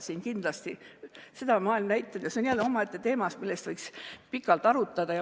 See on jälle teema, mille üle võiks pikalt arutada.